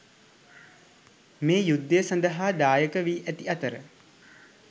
මෙම යුද්ධය සඳහා දායකවී ඇති අතර